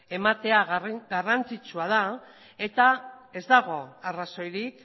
ematea garrantzitsua da eta ez dago arrazoirik